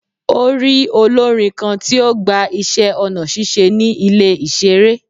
O rii olorin kan ti o gba iṣẹ ọna ṣiṣe ni ile iṣere